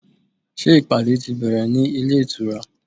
Ṣé ìpàdé ti bẹ̀rẹ̀ ní ilé ìtura?